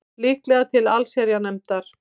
Líklega til allsherjarnefndar